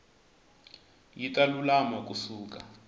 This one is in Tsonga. yi ta lulama ku suka